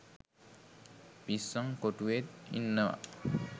පිස්සං කොටුවෙත් ඉන්නව